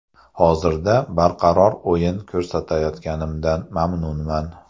Hozirda barqaror o‘yin ko‘rsatayotganimdan mamnunman.